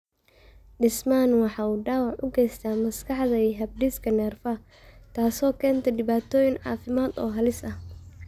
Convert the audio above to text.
Dhismahani waxa uu dhaawac u geystaa maskaxda iyo habdhiska neerfaha, taas oo keenta dhibaatooyin caafimaad oo halis ah.